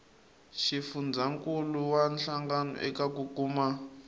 xifundzankuluwa hlangano eka ku kuma